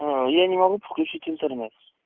я не могу подключить интернет